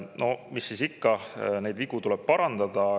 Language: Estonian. No mis siis ikka, vigu tuleb parandada.